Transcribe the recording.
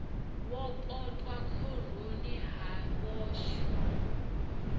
wo potwa khoroni ha vhoxwa